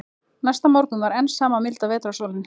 Næsta morgun var enn sama milda vetrarsólin.